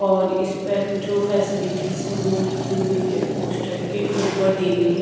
और इस पर जो फैसिलिटीज है वो लिखी हुई है पोस्टर के ऊपर दी गई है।